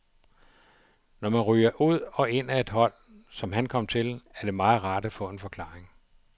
Når man ryger ud og ind af et hold, som han kom til, er det meget rart at få en forklaring.